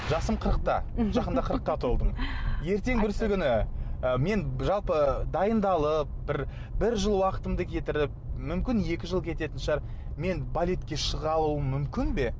жасым қырықта жақында қырыққа толдым ертең бүрсігүні ы мен жалпы дайындалып бір бір жыл уақытымды кетіріп мүмкін екі жыл кететін шығар мен балетке шыға алуым мүмкін бе